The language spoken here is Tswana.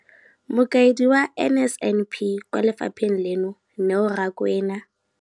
Mokaedi wa NSNP kwa lefapheng leno, Neo Rakwena,